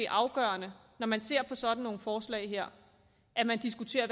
afgørende når man ser på sådan nogle forslag her at man diskuterer